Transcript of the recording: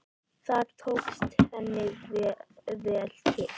Þar tókst henni vel til.